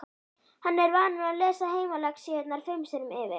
Hann er vanur að lesa heimalexíurnar fimm sinnum yfir.